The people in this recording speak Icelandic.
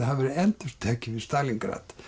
hafi verið endurtekið í Stalíngrad